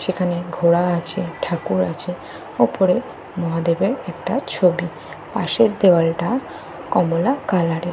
সেখানে ঘোড়া আছে ঠাকুর আছে। উপরে মহাদেবের একটা ছবি। পাশের দেয়ালটা কমলা কালারের ।